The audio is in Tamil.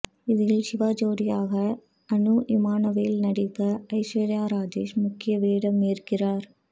இதில் சிவா ஜோடியாக அனுஇமானுவேல் நடிக்க ஐஸ்வர்யா ராஜேஷ் முக்கிய வேடமேற்கிறார்